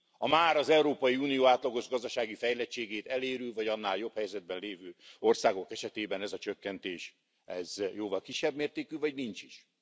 a már az Európai Unió átlagos gazdasági fejlettségét elérő, vagy annál jobb helyzetben lévő országok esetében ez a csökkentés jóval kisebb mértékű, vagy nincs is.